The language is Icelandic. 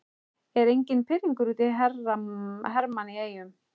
Er enginn pirringur út í Hermann í Eyjum?